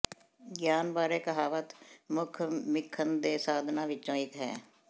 ਗਿਆਨ ਬਾਰੇ ਕਹਾਵਤ ਮੁੱਖ ਸਿੱਖਣ ਦੇ ਸਾਧਨਾਂ ਵਿੱਚੋਂ ਇੱਕ ਹੈ